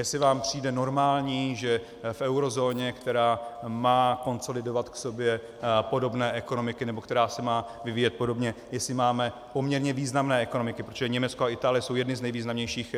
Jestli vám přijde normální, že v eurozóně, která má konsolidovat v sobě podobné ekonomiky nebo která se má vyvíjet podobně, jestli máme poměrně významné ekonomiky, protože Německo a Itálie jsou jedny z nejvýznamnějších,